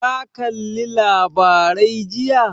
Ka kalli labarai jiya?